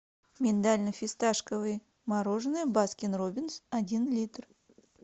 миндально фисташковое мороженое баскин роббинс один литр